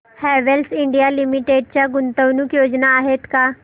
Havells India Limited च्या गुंतवणूक योजना आहेत का